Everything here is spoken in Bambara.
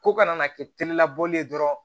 Ko kana na kɛ terilabele dɔrɔn